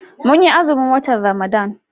Mun yi azumin watan Ramadan.